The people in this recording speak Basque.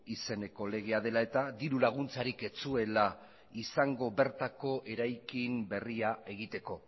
izeneko legea dela eta dirulaguntzarik ez zuela izango bertako eraikin berria egiteko